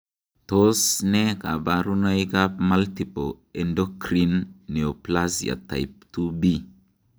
Tos nee koborunoikab Multiple endocrine neoplasia type 2B?